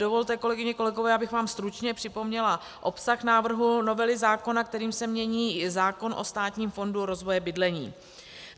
Dovolte, kolegyně, kolegové, abych vám stručně připomněla obsah návrhu novely zákona, kterým se mění zákon o Státním fondu rozvoje bydlení.